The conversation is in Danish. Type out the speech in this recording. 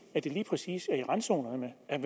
at det lige præcis er i randzonerne at